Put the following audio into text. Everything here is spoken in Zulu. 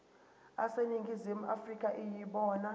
aseningizimu afrika yibona